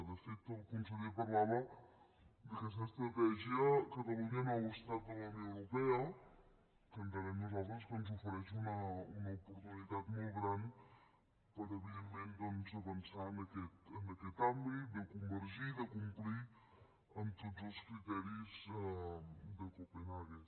de fet el conseller parlava d’aquesta estratègia catalunya nou estat de la unió europea que entenem nosaltres que ens ofereix una oportunitat molt gran per evidentment avançar en aquest àmbit de convergir de complir amb tots els criteris de copenhaguen